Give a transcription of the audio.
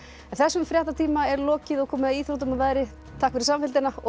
þessum fréttatíma er lokið og komið að íþróttum og veðri takk fyrir samfylgdina og